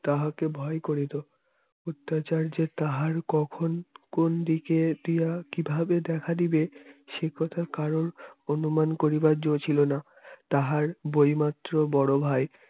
তাহাকে ভয় করি তো অত্যাচার যে তাহার কখন কোন দিকে দিয়া কিভাবে দেখা দিবে সে কথার কারণ অনুমান করিবার যো ছিলো না তাহার বই মাত্র বড় ভাই